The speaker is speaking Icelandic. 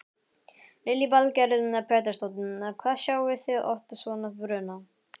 Lillý Valgerður Pétursdóttir: Hvað sjáið þið oft svona bruna?